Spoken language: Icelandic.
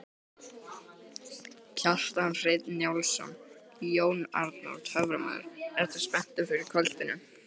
Kjartan Hreinn Njálsson: Jón Arnór töframaður, ertu spenntur fyrir kvöldinu?